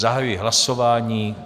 Zahajuji hlasování.